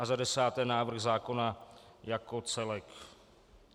A za desáté návrh zákona jako celek.